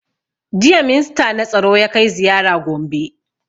Jiya minsta na tsaro ya kai ziyara gombe